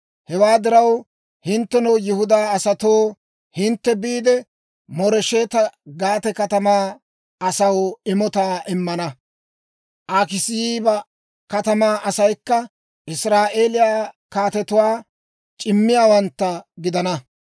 Hewaa diraw, hinttenoo Yihudaa asatoo, hintte biide, Mooresheta-Gaate katamaa asaw imotaa immana. Akiziiba katamaa asaykka Israa'eeliyaa kaatetuwaa c'immiyaawantta gidana.